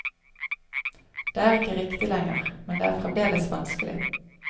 Det er ikke riktig lenger, men det er fremdeles vanskelig.